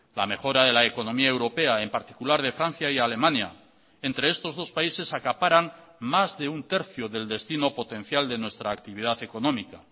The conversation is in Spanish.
la mejora de la economía europea en particular de francia y alemania entre estos dos países acaparan más de un tercio del destino potencial de nuestra actividad económica